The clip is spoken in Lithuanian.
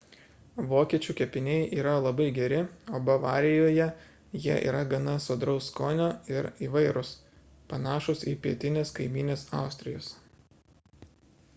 vokiečių kepiniai yra labai geri o bavarijoje jie yra gana sodraus skonio ir įvairūs panašūs į pietinės kaimynės austrijos